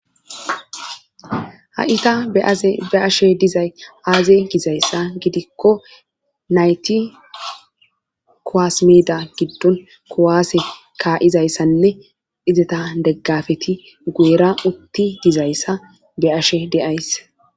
ha7ita be aze be ashe dizay aaze gizayssa gidikko nayti kowasimeda giddon kowaase ka7izayssanne izeta deggafeti guera utti dizayssa be ashe deays